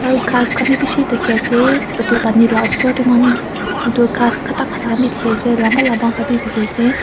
aru ghas khan bi bishi thakiase edu pani la osor manu edu ghas khata khata khan bi dikhiase lamba lamba khan bi dikhiase.